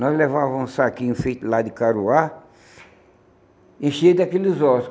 Nós levávamos um saquinho feito lá de caruá, enchia daqueles ossos.